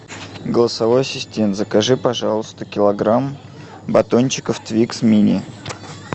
голосовой ассистент закажи пожалуйста килограмм батончиков твикс мини